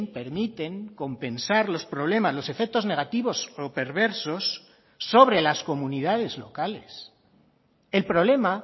permiten compensar los problemas los efectos negativos o perversos sobre las comunidades locales el problema